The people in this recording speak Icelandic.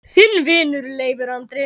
Þinn vinur, Leifur Andri.